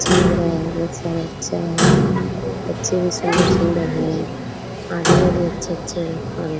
अच्छा लग रहा है बोहोत सारे बच्चा है। बच्चें भी सुंदर-सुंदर हैं। आदमी भी अच्छे-अच्छे हैं और --